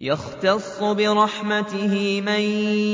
يَخْتَصُّ بِرَحْمَتِهِ مَن